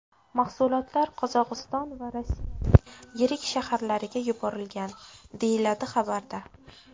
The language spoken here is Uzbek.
Mahsulotlar Qozog‘iston va Rossiyaning yirik shaharlariga yuborilgan”, deyiladi xabarda.